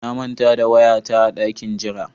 Na manta da waya ta a dakin jira.